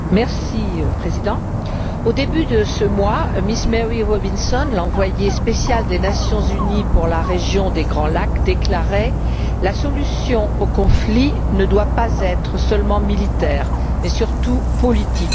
Monsieur le Président, au début de ce mois, Miss Mary Robinson, l'envoyée spéciale des Nations unies pour la région des Grands Lacs, déclarait La solution au conflit ne doit pas être seulement militaire, mais surtout politique.